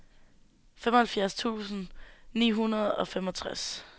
femoghalvfems tusind ni hundrede og femogtres